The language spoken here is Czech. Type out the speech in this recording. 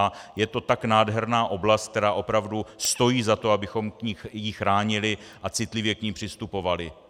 A je to tak nádherná oblast, která opravdu stojí za to, abychom ji chránili a citlivě k ní přistupovali.